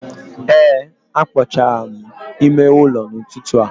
Ee a kpochara m ime ụlọ n'ụtụtụ a.